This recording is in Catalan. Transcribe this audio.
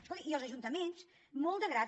escolti i els ajuntaments molt de grat